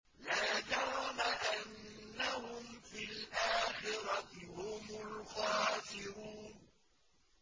لَا جَرَمَ أَنَّهُمْ فِي الْآخِرَةِ هُمُ الْخَاسِرُونَ